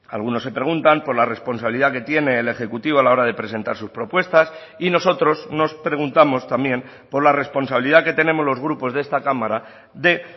algunos se preguntan por la responsabilidad que tiene el ejecutivo a la hora de presentar sus propuestas y nosotros nos preguntamos también por la responsabilidad que tenemos los grupos de esta cámara de